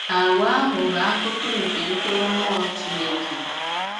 Àgwà ahụ bụ̀ akụkụ̀ nke mkpụrụ Mmụọ Chineke.